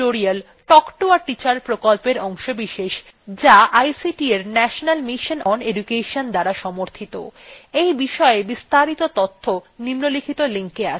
এখানেই এই tutorialএর সমাপ্তি হল spoken tutorial talk to a teacher প্রকল্পের অংশবিশেষ যা ict এর national mission on education দ্বারা সমর্থিত